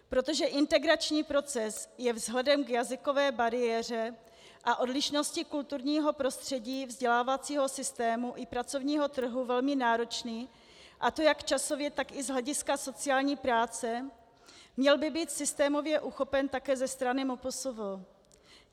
Protože integrační proces je vzhledem k jazykové bariéře a odlišnosti kulturního prostředí vzdělávacího systému i pracovního trhu velmi náročný, a to jak časově, tak i z hlediska sociální práce, měl by být systémově uchopen také ze strany MPSV.